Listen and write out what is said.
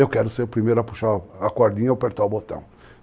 Eu quero ser o primeiro a puxar a cordinha e apertar o botão.